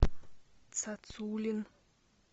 цацулин